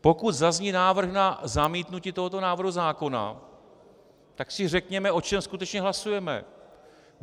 Pokud zazní návrh na zamítnutí tohoto návrhu zákona, tak si řekněme, o čem skutečně hlasujeme.